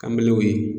Kanbew ye